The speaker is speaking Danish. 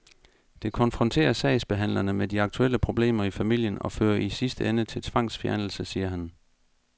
Det konfronterer sagsbehandlerne med de aktuelle problemer i familien og fører i sidste ende til tvangsfjernelse, siger han.